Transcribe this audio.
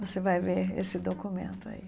Você vai ver esse documento aí.